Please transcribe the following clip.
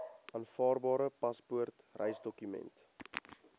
aanvaarbare paspoort reisdokument